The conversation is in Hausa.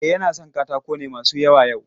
E, yana son katako ne masu yawa yau.